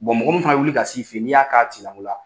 mɔgɔ mun fana be wuli ka s'i fe ye, n'i y'a k'a tigila mo la